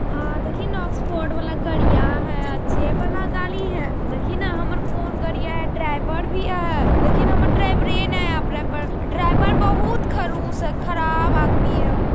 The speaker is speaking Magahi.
हां देखी ने वाला गड़िया हेय अच्छे बाला गाड़ी हेय देखी ने हमर फोन गड़िया ड्राइवर भी हेय देखी ने हमर ड्राइवर बहोत खडूस हेय खराब आदमी हेय उ।